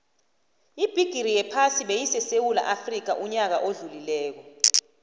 ibigixi yephasi beyisesewula afxica uyaka odlulile